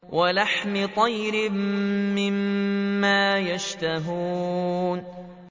وَلَحْمِ طَيْرٍ مِّمَّا يَشْتَهُونَ